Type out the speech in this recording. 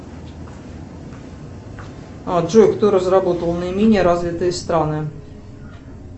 джой кто разработал наименее развитые страны